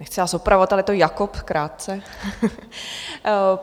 Nechci vás opravovat, ale je to Jakob krátce.